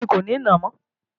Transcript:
Èmi kò ní nàá mọ́